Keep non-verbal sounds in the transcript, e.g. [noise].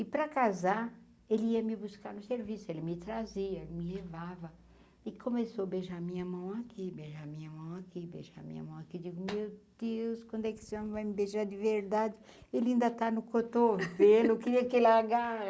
E para casar, ele ia me buscar no serviço, ele me trazia, me levava e começou a beijar a minha mão aqui, beijar a minha mão aqui, beijar a minha mão aqui, digo, meu Deus, quando é que esse homem vai me beijar de verdade, ele ainda está no cotovelo, [laughs] queria que ele